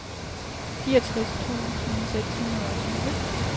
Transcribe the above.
fireogtres tusind seks hundrede og tyve